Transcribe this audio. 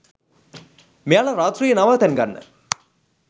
මෙයාල රාත්‍රියේ නවාතැන් ගන්න